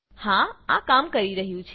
હા આ કામ કરી રહ્યું છે